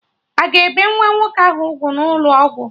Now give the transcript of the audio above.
Aga ebe nwa nwoke ahụ ugwu n'ụlọ ọgwụ?